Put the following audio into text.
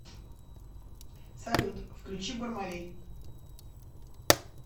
салют включи бармалей